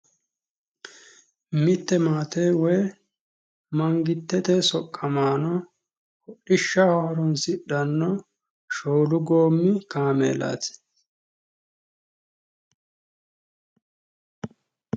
Mitte maate woyi mangitete soqqamaano hodhishshaho horonsidhanno shoolu goommi kaameelaati.